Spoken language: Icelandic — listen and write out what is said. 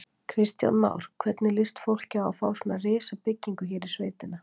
Kristján Már: Hvernig líst fólki á að fá svona risabyggingu hér í sveitina?